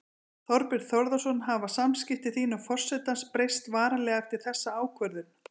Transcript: Þorbjörn Þórðarson: Hafa samskipti þín og forsetans breyst varanlega eftir þessa ákvörðun?